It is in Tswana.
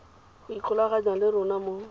go ikgolaganya le rona mo